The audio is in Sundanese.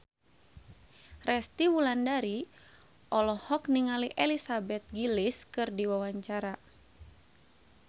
Resty Wulandari olohok ningali Elizabeth Gillies keur diwawancara